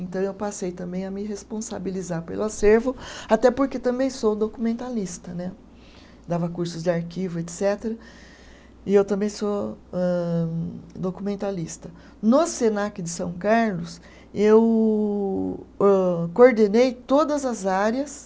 Então eu passei também a me responsabilizar pelo acervo até porque também sou documentalista né, dava cursos de arquivo etcetera e eu também sou âh, documentalista. No Senac de São Carlos eu âh coordenei todas as áreas